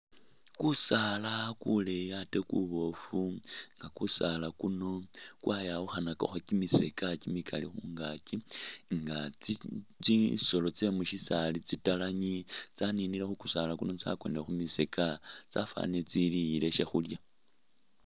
Kusaala kuleyi ate kuboofu nga kusaala kuno kwayawukhanakakho kimisokya kimikali khungaki nga tsisolo tsye musisaali tsitalangi tsaninile khukusaala kuno tsakonile khumisokya tsafanile tsiliyile shakhulya